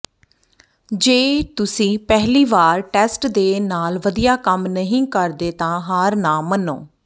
ਜੇ ਤੁਸੀਂ ਪਹਿਲੀ ਵਾਰ ਟੈਸਟ ਦੇ ਨਾਲ ਵਧੀਆ ਕੰਮ ਨਹੀਂ ਕਰਦੇ ਤਾਂ ਹਾਰ ਨਾ ਮੰਨੋ